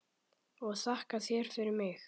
Og þakka þér fyrir mig.